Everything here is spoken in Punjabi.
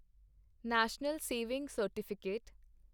national saving certificate